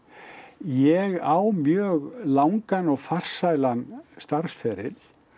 ég á mjög langan og farsælan starfsferil